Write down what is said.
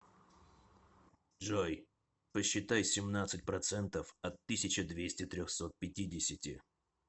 джой посчитай семнадцать процентов от тысяча двести трехсот пятидесяти